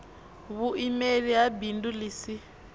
vhuimeli ha bindu ḽi si